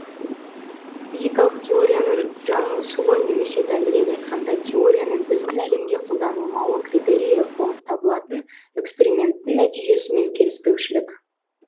физикалық теорияның жаңылысуы немесе дәлірек айтқанда теорияның біздің әлемге қолданылмауы критерийі болып табылатын эксперименттің нәтижесімен келіспеушілік